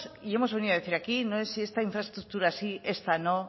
y hemos venido a decir aquí no es si esta infraestructura sí esta no